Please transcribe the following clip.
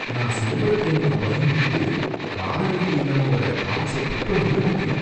நான், சைபர் கிரைமுக்கு பயந்துகிட்டு, காலர் ஐடி இல்லாம வர்ற கால்ஸ பிக் பண்ணவே மாட்டேன்.